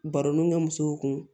Baronu kɛ musow kun